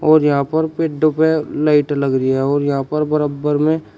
और यहां पर पेड्डो पे लाइट लग रही है और यहां पर बरब्बर में--